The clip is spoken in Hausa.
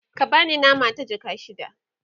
ka bani nama ta jaka shida